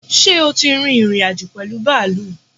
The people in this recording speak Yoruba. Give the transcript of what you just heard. ṣẹ́ o tí ìrìn-àjò pẹ̀lú bàálù?